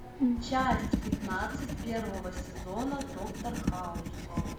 часть пятнадцать первого сезона доктор хаус